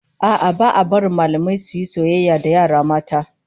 A'a, ba a barin mallamai su yi soyayya da yara mata